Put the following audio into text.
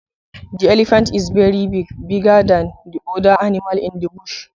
The elephant is very big, bigger than the other animals in bush.